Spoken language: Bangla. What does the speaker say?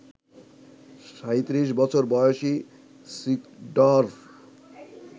৩৭ বছর বয়সী সিডর্ফ